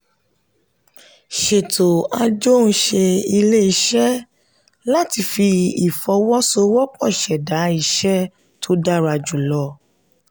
sètò ajohunṣe ilé-iṣẹ́ láti fi ìfọwọ́sowọ́pọ̀ ṣẹdá iṣẹ́ tó dára jùlọ.